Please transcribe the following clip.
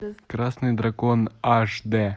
красный дракон аш дэ